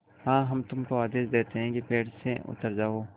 हाँ हम तुमको आदेश देते हैं कि पेड़ से उतर जाओ